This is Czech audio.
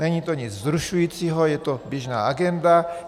Není to nic vzrušujícího, je to běžná agenda.